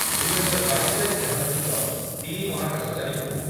ଦୁଇ ହଜାର ବାଇଶ ରେ ଏହା ସହିତ ତିନି ମହାକାଶଚାରୀଙ୍କୁ